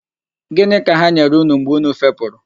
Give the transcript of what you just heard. Gịnị ka ha nyere unu mgbe unu fepụrụ.